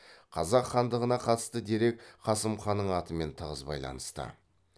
қазақ хандығына қатысты дерек қасым ханның атымен тығыз байланысты